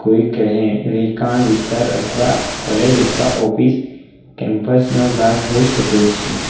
કોઈ કહે રેહકાન વિસ્તાર અથવા કોલેજ અથવા ઓફિસ કેમ્પસ નો ભાગ હોઈ શકે છે.